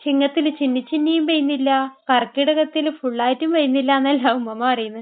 ചിങ്ങത്തിൽ ചിന്നി ചിന്നിയും പെയ്യുന്നില്ല, കർക്കിടകത്തിൽ ഫുള്ളായിട്ടും പെയ്യുന്നില്ല. എന്നെല്ലാം ഉമ്മുമ്മ പറയുന്നേ.